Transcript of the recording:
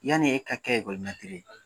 Yani e ka kɛ ye